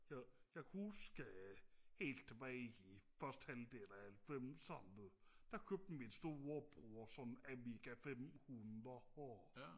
jeg jeg kan huske helt tilbage i første halvdel af halvfemserne der købte min storebror sådan en amiga femhundrede